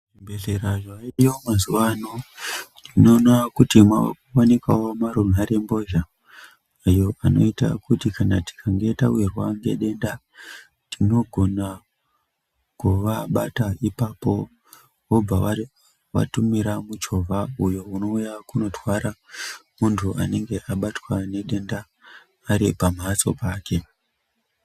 Zvibhehleya zvovadiwa mazuva ano unoona kuti kwo wanikawo runharembozha avo anoita kuti kana tikange tawirwa ngedenda tinogona kuvabate ipapo vobva vatumira muchovha uyo unouya kunotwara mundu anenge abatwe ngedenda ari pamatso pake